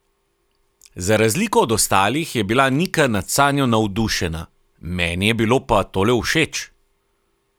Za razliko od ostalih je bila Nika nad Sanjo navdušena: "Meni je bilo pa tole všeč.